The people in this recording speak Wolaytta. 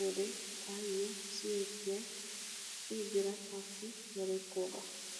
wode taayyo siyettiyay I birataappe merettoogaa.